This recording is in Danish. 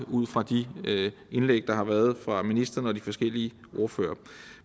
ud fra de indlæg der har været fra ministeren og de forskellige ordførere